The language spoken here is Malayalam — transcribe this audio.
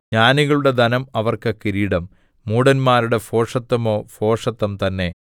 ജ്ഞാനികളുടെ ധനം അവർക്ക് കിരീടം മൂഢന്മാരുടെ ഭോഷത്വമോ ഭോഷത്തം തന്നെ